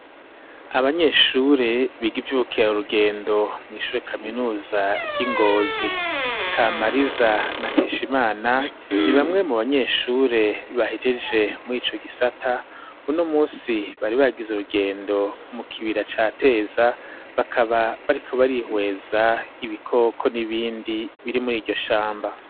Abanyeshure biga ivyoukeya urugendo mw'ishure kaminuza ry'ingozi kamariza na nkesha imana ni bamwe mu banyeshure bahejeje mu ico gisata uno umusi bari bagize urugendo mu kibira ca teza bakaba barikubarihweza ibiko oko ni ibindi biri muri iryo shamba.